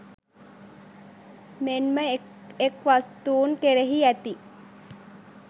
මෙන්ම එක් එක් වස්තූන් කෙරෙහි ඇති